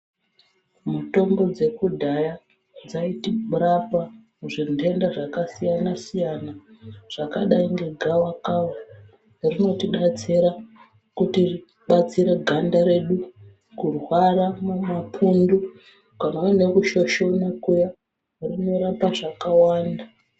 Mutombo dzekudhaya dzaitirapa muzvintenda zvakasiyana siyana zvakadai ngegavakava. Rinoti batsira kutibatsira ganda redu, kurwara nemapundu kana kushoshonwa kuya rinorapa zvakawanda.